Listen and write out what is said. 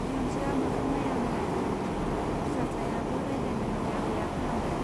बिहामजोआ मोखां नाइया नाइया खालामदों, फिसाज्लायाबो रायज्लायनो हाया हाया खालामदों।